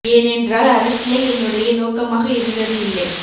ஏனென்றால் அரசியல் என்னுடைய நோக்கமாக இருந்தது இல்லை